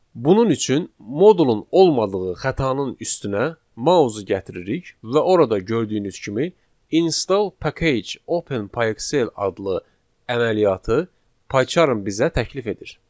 Bunun üçün modulun olmadığı xətanın üstünə mausu gətiririk və orada gördüyünüz kimi install package Open PyXell adlı əməliyyatı PyCharm bizə təklif edir.